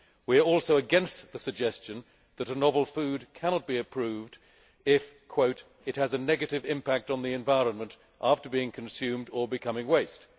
We are also against the suggestion that a novel food cannot be approved if it has a negative impact on the environment after being consumed or becoming waste'.